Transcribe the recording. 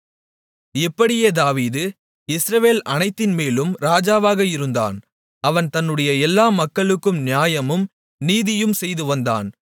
இப்படியே தாவீது இஸ்ரவேல் அனைத்தின்மேலும் ராஜாவாக இருந்தான் அவன் தன்னுடைய எல்லா மக்களுக்கும் நியாயமும் நீதியும் செய்துவந்தான்